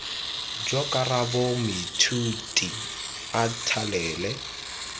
jwa karabo moithuti a thalele